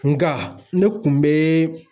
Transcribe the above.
Nga ne kun be